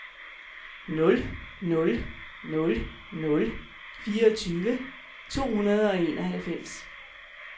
nul nul nul nul fireogtyve to hundrede og enoghalvfems